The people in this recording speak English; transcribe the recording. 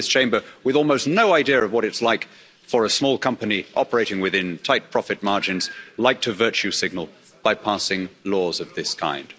We in this Chamber, with almost no idea of what it's like for a small company operating within tight profit margins, like to virtue signal by passing laws of this kind.